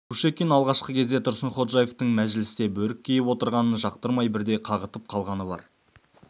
кушекин алғашқы кезде тұрсынходжаевтың мәжілісте бөрік киіп отырғанын жақтырмай бірде қағытып қалғаны бар